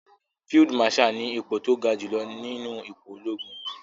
Field marshal ni ipò tó ja jùlọ nínú ipò ológun.